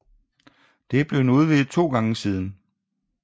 Det er blevet udvidet to gange siden